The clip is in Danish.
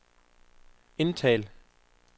indtal